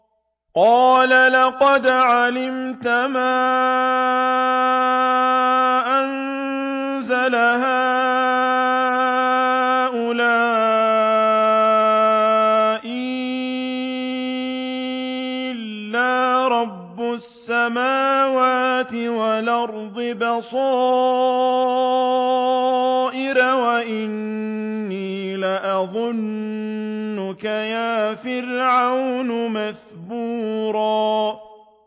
قَالَ لَقَدْ عَلِمْتَ مَا أَنزَلَ هَٰؤُلَاءِ إِلَّا رَبُّ السَّمَاوَاتِ وَالْأَرْضِ بَصَائِرَ وَإِنِّي لَأَظُنُّكَ يَا فِرْعَوْنُ مَثْبُورًا